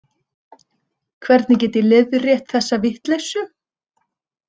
Hvernig get ég leiðrétt þessa vitleysu?